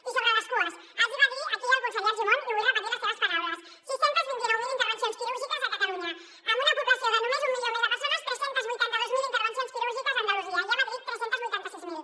i sobre les cues els hi va dir aquí el conseller argimon i vull repetir les seves paraules sis cents i vint nou mil intervencions quirúrgiques a catalunya amb una població de només un milió més de persones tres cents i vuitanta dos mil intervencions quirúrgiques a andalusia i a madrid tres cents i vuitanta sis mil